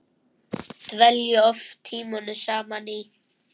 Dvelja oft tímunum saman í